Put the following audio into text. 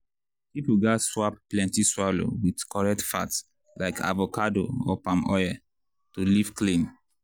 people gats swap plenty swallow with correct fat like avocado or palm oil to live clean.